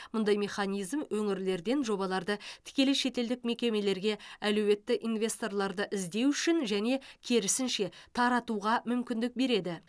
мұндай механизм өңірлерден жобаларды тікелей шетелдік мекемелерге әлеуетті инвесторларды іздеу үшін және керісінше таратуға мүмкіндік береді